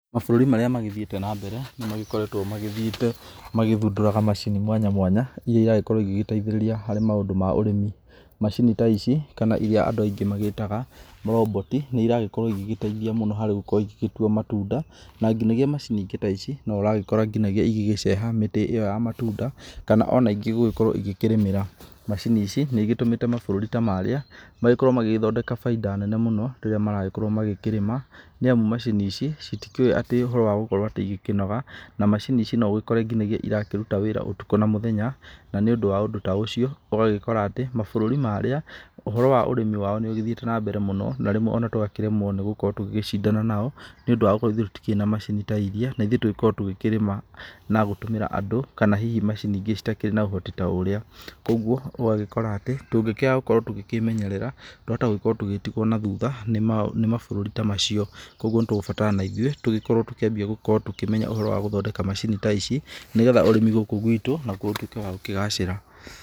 Mabũrũri marĩa magĩthiĩte na mbere, nĩmakoretwo magĩthiĩte magĩthundũraga macini mwanya mwanya iria iragĩkorwo igĩteithĩrĩria harĩ maũndũ ma ũrĩmi. Macini ta ici kana iria andũ aingĩ magĩtaga roboti, nĩiragĩkorwo igĩteithia mũno harĩ gũkorwo igĩtua matunda, na nginyagia macini ingĩ ta ici nĩ ũragĩkora igĩceha mĩtĩ ĩyo ya matunda, kana ingĩ gũkorwo igĩkĩrĩmĩra. Macini ici nĩigĩtũmĩte mabũrũri ta marĩa magĩkorwo magĩthondeka bainda nene mũno, rĩrĩa maragĩkorwo makĩrĩma, nĩamu macini ici citikĩũe atĩ ũhoro wa gũkorwo cikĩnoga. Na macini ici no ũgĩkore ciraruta wĩra ũtukũ na mũthenya, na nĩũndũ wa ũndũ ta ũcio ũgagĩkora atĩ mabũrũri marĩa ũhoro wa ũrĩmi nĩũgĩthiĩte na mbere mũno na rĩmwe tũkaremwo nĩ gũkorwo tũgĩcindana nao, nĩũndũ wa gũkorwo ithuĩ tũtirĩ na macini ta iria na ithuĩ tũgĩkorwo tũkĩrĩma na gũtũmĩra andũ, kana hihi macini ingĩ itarĩ na ũhoti ta ũrĩa. Koguo ũgagĩkora atĩ tũngĩkĩaga gũkorwo tũkĩmenyerera twahota gũgĩkorwo tũgĩtigwo na thutha nĩ mabũrũri ta macio. Koguo nĩtũgũgĩbatarwo ona ithuĩ tũgĩkorwo tũkĩambia gũkorwo tũkĩmenya ũhoro wa gũthondeka macini ta ici, nĩgetha ũrĩmi gũkũ gwĩtũ ũtuĩke wa gũkĩgacĩra.